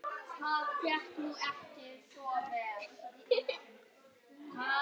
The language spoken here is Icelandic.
Sjáum til, góði.